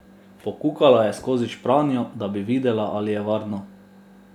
Pokukala je skozi špranjo, da bi videla, ali je varno.